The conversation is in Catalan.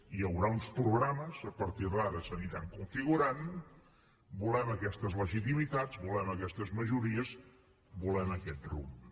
hi haurà uns programes a partir d’ara s’aniran configurant volem aquestes legitimitats volem aquestes majories volem aquest rumb